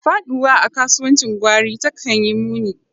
Faɗuwa a kasuwancin gwari takan yi muni.